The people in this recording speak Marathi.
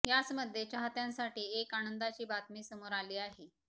याच मध्ये चाहत्यांसाठी एक आनंदाची बातमी समोर आली आहे